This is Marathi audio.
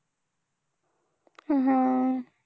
हा.